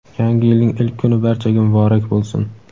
Yangi yilning ilk kuni barchaga muborak bo‘lsin!.